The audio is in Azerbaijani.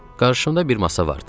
Qarşımda bir masa vardı.